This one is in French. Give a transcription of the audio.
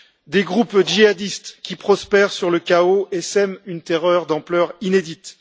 Des groupes djihadistes, qui prospèrent sur le chaos et sèment une terreur d'ampleur inédite.